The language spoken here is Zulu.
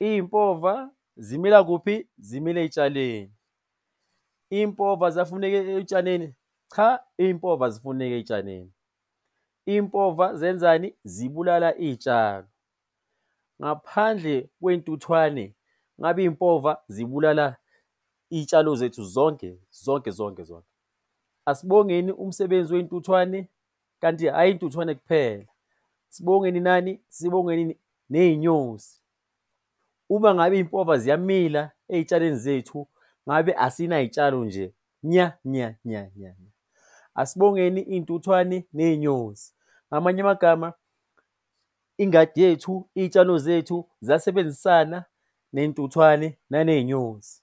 Iy'mpova zimila kuphi? Zimila ey'tshalweni. Iy'mpova ziyafuneka ey'tshalweni? Cha, iy'mpova azifuneki ey'tshalweni. Iy'mpova zenzani? Zibulala iy'tshalo. Ngaphandle kwey'ntuthwane ngabe iy'mpova zibulala iy'tshalo zethu zonke zonke zonke zonke. Asibongeni umsebenzi wey'ntuthwane kanti ayi iy'ntuthwane kuphela, sibongeni nani? Sibongeni ney'nyosi. Uma ngabe iy'mpova ziyamila ey'tshalweni zethu ngabe asinay'tshalo nje nya nya nya nya nya. Asibongeni iy'ntuthwane ney'nyosi. Ngamanye amagama ingadi yethu, iy'tshalo zethu ziyasebenzisana ney'ntuthwane naney'nyosi.